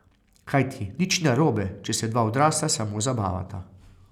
Kajti, nič ni narobe, če se dva odrasla samo zabavata.